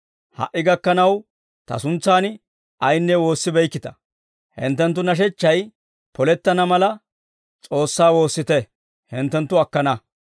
Ha"i gakkanaw Ta suntsan ayinne woossibeykkita; hinttenttu nashechchay polettana mala, S'oossaa woossite; hinttenttu akkana.